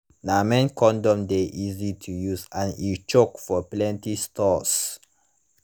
na men condom de easy to use and e choke for plenty stores